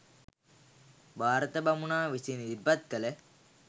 භාරත බමුණා විසින් ඉදිරිපත් කළ